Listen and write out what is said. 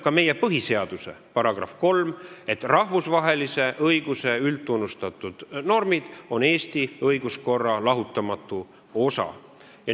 Ka meie põhiseaduse § 3 ütleb, et rahvusvahelise õiguse üldtunnustatud normid on Eesti õigussüsteemi lahutamatu osa.